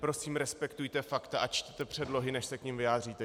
Prosím respektujte fakta a čtěte předlohy, než se k nim vyjádříte.